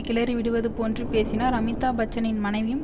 கிளறி விடுவதுபோன்று பேசினார் அமிதாப் பச்சனின் மனைவியும்